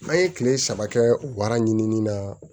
N'an ye kile saba kɛ wara ɲinini na